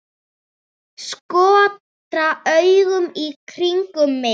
Skotra augunum í kringum mig.